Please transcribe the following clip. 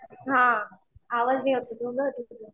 हां आवाज